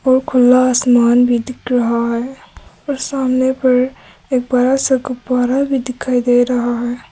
और खुला आसमान भी दिख रहा है और सामने पर एक बड़ा सा गुब्बारा भी दिखाई दे रहा है।